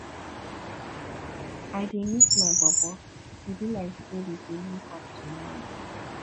i dey miss my bobo e be like sey we go link up tomorrow